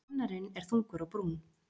Kennarinn er þungur á brún.